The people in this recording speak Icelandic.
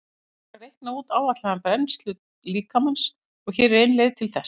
Hægt er að reikna út áætlaða brennslu líkamans og hér er ein leið til þess.